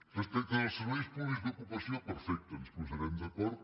respecte dels serveis públics d’ocupació perfecte ens posarem d’acord